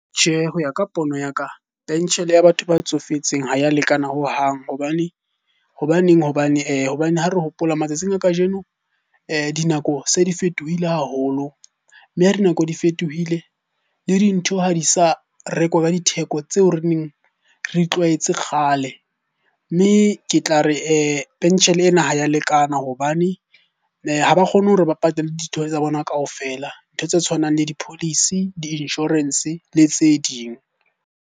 Tjhe, ho ya ka pono ya ka peshene ya batho ba tsofetseng ha ya lekana hohang. Hobane ha re hopole matsatsing a kajeno dinako se di fetohile haholo. Mme nako di fetohile, le dintho ha di sa rekwa ka ditheko tseo re neng re di tlwaetse kgale. Mme ke tla re penshene ena ha ya lekana hobane ha ba kgone hore ba patale tsa bona kaofela. Ntho tse tshwanang le di-policy, di-insurance le tse ding.